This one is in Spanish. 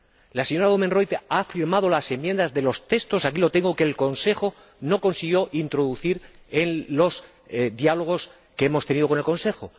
La señora Oomen Ruijten ha firmado las enmiendas de los textos ―aquí lo tengo― que el Consejo no consiguió introducir en los diálogos que hemos mantenido con el Consejo.